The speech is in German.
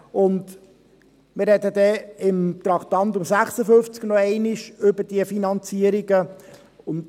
Wir werden unter dem Traktandum 56 noch einmal über diese Finanzierungen sprechen.